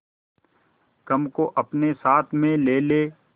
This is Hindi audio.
गम को अपने साथ में ले ले